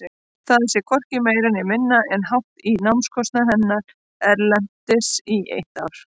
Það sé hvorki meira né minna en hátt í námskostnað hennar erlendis í eitt ár.